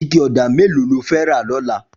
Iké ọ̀dá méló ló fè rà lọ̀là?